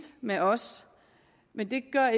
med os men det gør